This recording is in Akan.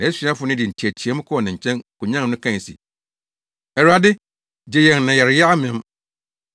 Nʼasuafo no de nteɛteɛmu kɔɔ ne nkyɛn, konyan no kae se, “Awurade! Gye yɛn na yɛreyɛ amem!”